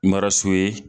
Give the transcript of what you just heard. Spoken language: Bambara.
Mara so ye